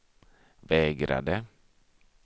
vägrade